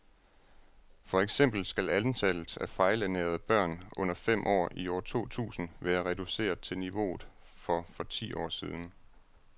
For eksempel skal antallet af fejlernærede børn under fem år i år to tusind være reduceret til niveauet for for ti år siden.